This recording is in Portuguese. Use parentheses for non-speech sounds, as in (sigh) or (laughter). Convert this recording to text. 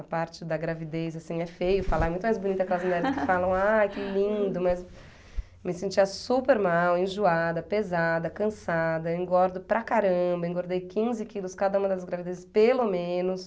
A parte da gravidez, assim, é feio falar, é muito mais bonita aquelas mulheres que falam, ah, que lindo, (laughs) mas eu me sentia super mal, enjoada, pesada, cansada, engordo para caramba, engordei quinze quilos cada uma das gravidezes, pelo menos.